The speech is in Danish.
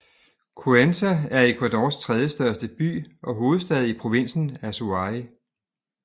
Cuenca er Ecuadors tredjestørste by og hovedstad i provinsen Azuay